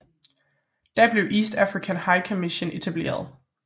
Da blev East African High Commission etableret